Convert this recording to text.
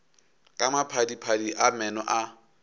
ka maphadiphadi a meno a